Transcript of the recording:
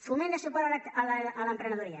foment de suport a l’emprenedoria